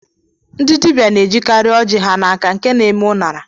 Ndị dibịa na-ejikarị oji ha n'aka nke na-eme ụṅara